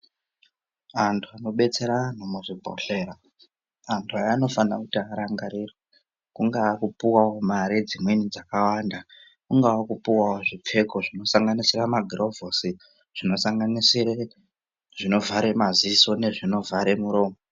Anthu anobetsera anthu muzvibhodhlera anthu aya anofana kuti arangarirwe kungaa kupuwao mari dzimweni dzakawanda kunga kupuwao zvipfeko zvinosanganisira magurovhosi zvinosanganisire zvinovhare maziso nezvino vhare muromo.